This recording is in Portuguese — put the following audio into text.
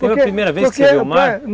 Foi a primeira vez que você viu o mar?